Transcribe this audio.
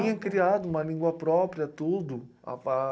criado uma língua própria, tudo. A